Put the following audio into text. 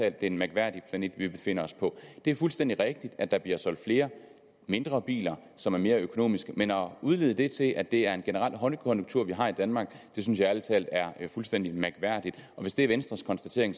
at det er en mærkværdig planet vi befinder os på det er fuldstændig rigtigt at der bliver solgt flere mindre biler som er mere økonomiske men at udvide det til at det er en generel højkonjunktur vi har i danmark synes jeg ærlig talt er fuldstændig mærkværdigt hvis det er venstres konstatering